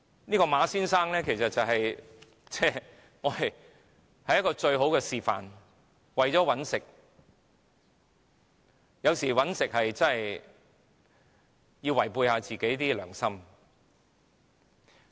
這位馬先生其實是最好的示範，為了賺錢有時候真的要違背良心。